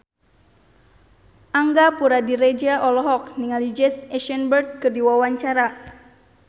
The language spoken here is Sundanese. Angga Puradiredja olohok ningali Jesse Eisenberg keur diwawancara